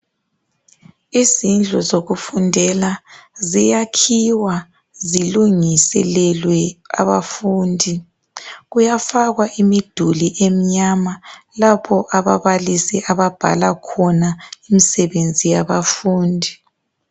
Izindlu zokufundela ziyakhiwa zilunguselelwe abafundi kuyafakwa imiduli emnyama lapho ababalisi ababhala khona imisebenzi yabafundi.